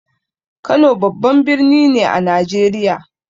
Kano babban birni ne a Najeriya.